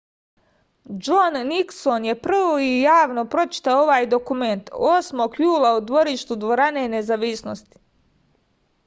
džon nikson je prvi javno pročitao ovaj dokument 8. jula u dvorištu dvorane nezavisnosti